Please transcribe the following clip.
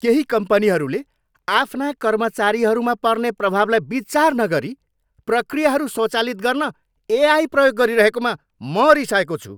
केही कम्पनीहरूले आफ्ना कर्मचारीहरूमा पर्ने प्रभावलाई विचार नगरी प्रक्रियाहरू स्वचालित गर्न एआई प्रयोग गरिरहेकोमा म रिसाएको छु।